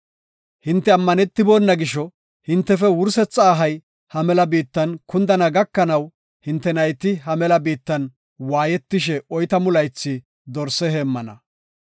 Hinte ammanetibona gisho, hintefe wursetha ahay ha mela biittan kundana gakanaw, hinte nayti ha mela biittan waayetishe oytamu laythi dorse heemmana.